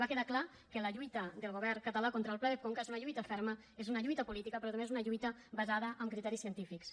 va quedar clar que la lluita del govern català contra el pla de conca és una lluita ferma és una lluita política però també és una lluita basada en criteris científics